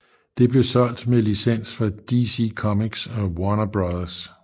Det blev solgt meds licens fra DC Comics og Warner Bros